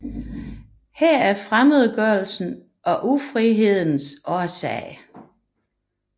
Her er fremmedgørelsens og ufrihedens årsag